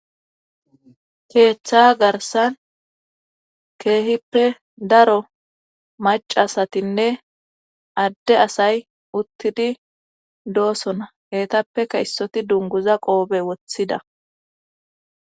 keeththa garsan keehippe daro macasatinne adde asay uttidi doosona hetappeka issoti dunguza qoobe woththida